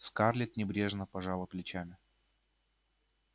скарлетт небрежно пожала плечами